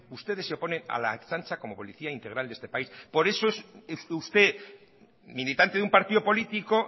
ustedes se oponen a la ertzaintza como policía integral de este país por eso es usted militante de un partido político